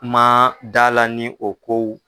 N man da la ni o kow